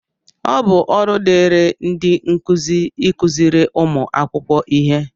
ọ bụ ọrụ dịịrị ndị nkuzi ịkụziri ụmụ akwụkwọ ihe